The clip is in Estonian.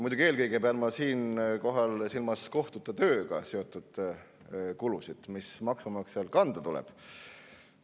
Muidugi pean ma siinkohal eelkõige silmas kohtute tööga seotud kulusid, mis maksumaksjal kanda tuleb.